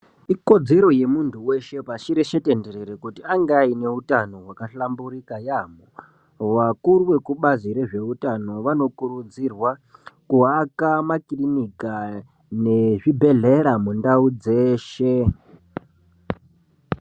Ikodzero yemuntu weshe pashi reshe tenderere Kuti ange aneutano hwakahlamburika yamho vakuru vekubazi rezveutano vanokurudzirwa kuwaka makiliniki awa nezvibhehleya mundau dzeshe.